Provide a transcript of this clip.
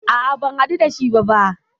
A'a, ban hadu da shi ba ba.